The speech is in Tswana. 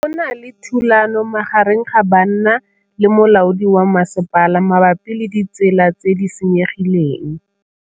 Go na le thulanô magareng ga banna le molaodi wa masepala mabapi le ditsela tse di senyegileng.